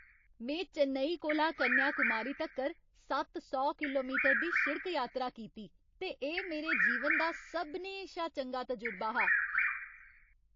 में चेन्नई कोला कन्याकुमारी तक्कर सत्त सौ किलोमीटर दी शिड़क यात्रा कीती ते एह् मेरे जीवन दा सभनें शा चंगा तजुर्बे हा।